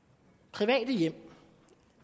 private hjem